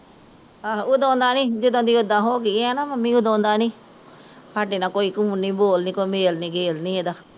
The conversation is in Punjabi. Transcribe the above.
ਆਹੋ ਉਦੋਂ ਦਾ ਨੀ ਜਦੋਂ ਦੀ ਇੱਦਾਂ ਹੋ ਗਈ ਐ ਨਾ ਮੰਮੀ ਸਾਢੇ ਨਾਲ਼ ਕੋਈ ਕਨੂਨ ਨੀ ਕੋਈ ਬੋਲ ਨੀ ਕੋਈ ਮੇਲ ਗੇਲ ਨੀ ਇਹਦਾ